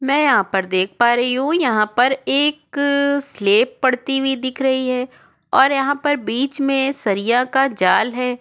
मैं यहाँ पर देख पा रही हू यहाँ पर एक स्लॅप पड़ती हुई दिख रही है और यहाँ पर बीच मे सरिया का जाल है।